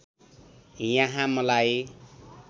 यहाँ मलाई